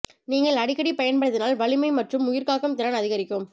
நீங்கள் அடிக்கடி பயன்படுத்தினால் வலிமை மற்றும் உயிர் காக்கும் திறன் அதிகரிக்கும்